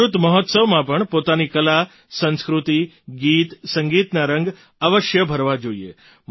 અમૃત મહોત્સવમાં પણ પોતાની કલા સંસ્કૃતિ ગીત સંગીતના રંગ અવશ્ય ભરવા જોઈએ